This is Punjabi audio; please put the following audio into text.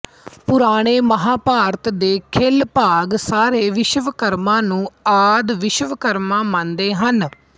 ਪੁਰਾਣੇ ਮਹਾਭਾਰਤ ਦੇ ਖਿਲ ਭਾਗ ਸਾਰੇ ਵਿਸ਼ਵਕਰਮਾ ਨੂੰ ਆਦਿ ਵਿਸ਼ਵਕਰਮਾ ਮੰਨਦੇ ਹਨ